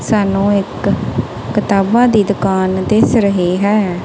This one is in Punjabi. ਸਾਨੂੰ ਇੱਕ ਕਤਾਬਾਂ ਦੀ ਦੁਕਾਨ ਦਿਸ ਰਹੀ ਹੈ।